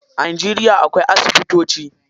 A Najeriya akwai asibitoci.